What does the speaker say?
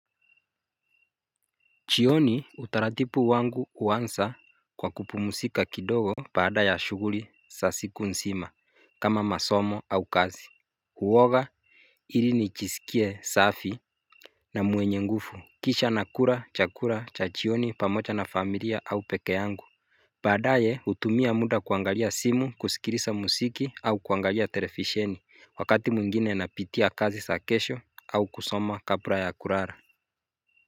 Jioni utaratibu wangu huanza kwa kupumzika kidogo Baada ya shughuli za siku nzima kama masomo au kazi huoga ili nijisikie safi na mwenye nguvu kisha nakula chakula cha jioni pamoja na familia au peke yangu baadaye hutumia muda kuangalia simu kusikiliza muziki au kuangalia televisheni wakati mwingine napitia kazi za kesho au kusoma kabla ya kulala.